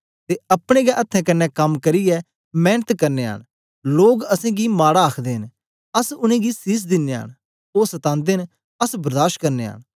ते अपने गै अथ्थें कन्ने कम करियै मेंनत करनयां न लोग असेंगी माड़ा आखदे न अस उनेंगी सीस दिनयां न ओ सतांदे न अस बर्दाश करनयां न